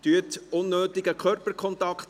Vermeiden Sie unnötigen Körperkontakt.